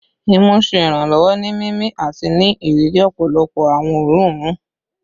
Imu ṣe iranlọwọ ni mimi ati ni iriri ọpọlọpọ awọn oorun oorun